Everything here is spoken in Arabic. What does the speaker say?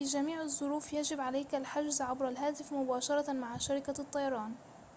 في جميع الظروف يجب عليك الحجز عبر الهاتف مباشرة مع شركة الطيران